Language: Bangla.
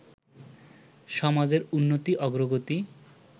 সমাজের উন্নতি, অগ্রগতি